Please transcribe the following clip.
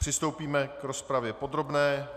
Přistoupíme k rozpravě podrobné.